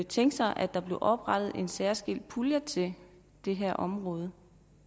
tænke sig at der blev oprettet en særskilt pulje til det her område